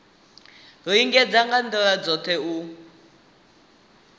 lingedza nga ndila dzothe u